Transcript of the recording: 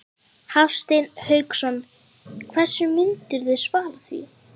Hafsteinn Hauksson: Hverju myndirðu svara því?